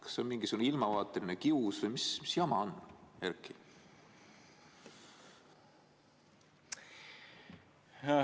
Kas see on mingisugune ilmavaateline kius või mis jama on, Erki?